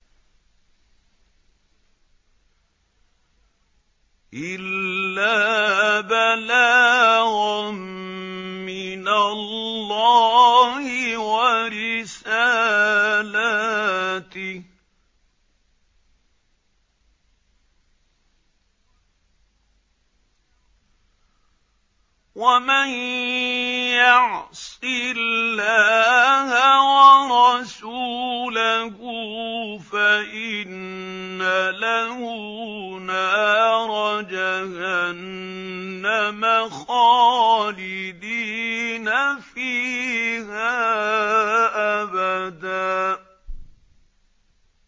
إِلَّا بَلَاغًا مِّنَ اللَّهِ وَرِسَالَاتِهِ ۚ وَمَن يَعْصِ اللَّهَ وَرَسُولَهُ فَإِنَّ لَهُ نَارَ جَهَنَّمَ خَالِدِينَ فِيهَا أَبَدًا